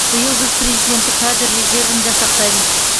биыл біз президенттік кадр резервін жасақтаймыз